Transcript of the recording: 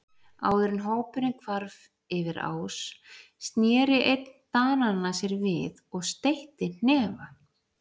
Áður en hópurinn hvarf yfir ás sneri einn Dananna sér við og steytti hnefa.